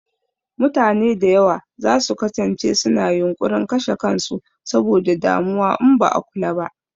Mutane da yawa za su kasance su na yunƙurin kashe kan su saboda damuwa in ba a kula ba